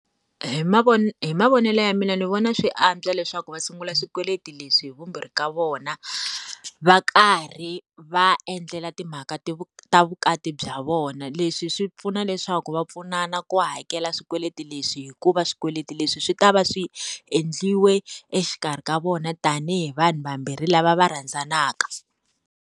Hi hi mavonelo ya mina ni vona swi antswa leswaku va sungula swikweleti leswi hi vumbirhi ka vona, va karhi va endlela timhaka ta vukati bya vona. Leswi swi pfuna leswaku va pfunana ku hakela swikweleti leswi hikuva swikweleti leswi swi ta va swi endliwe exikarhi ka vona tanihi vanhu vambirhi lava va rhandzanaka.